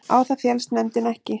Á það féllst nefndin ekki